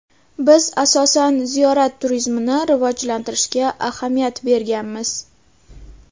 Biz, asosan, ziyorat turizmini rivojlantirishga ahamiyat berganmiz.